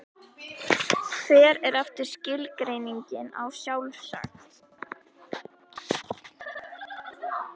Hver er aftur skilgreiningin á sjálfsagt?